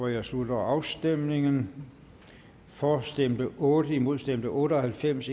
jeg slutter afstemningen for stemte otte imod stemte otte og halvfems